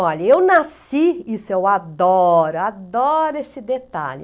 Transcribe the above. Olha, eu nasci, isso eu adoro, adoro esse detalhe.